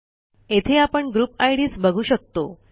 येथे आपण group IDs बघू शकतो